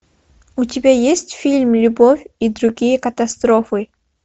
у тебя есть фильм любовь и другие катастрофы